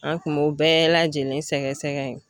An kun b'o bɛɛ lajɛlen sɛgɛsɛgɛ